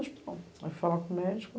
hospital. Aí fui falar com o médico.